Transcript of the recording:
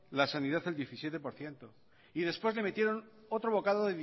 la sanidad al diecisiete por ciento y después le metieron otro bocado